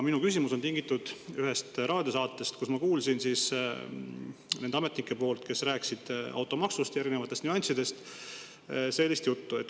Minu küsimus on ühest raadiosaatest, kus ma kuulsin nendelt ametnikelt, kes rääkisid automaksu erinevatest nüanssidest, sellist juttu.